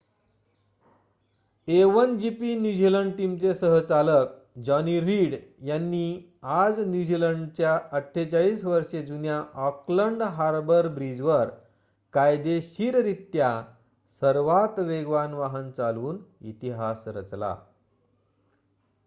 a1gp New Zealand टीमचे सह-चालक Johnny Reid यांनी आजन्यूझीलंडच्या 48 वर्षे जुन्या ऑकलंड हार्बर ब्रिजवर कायदेशीररित्या सर्वात वेगवान वाहन चालवून इतिहास रचला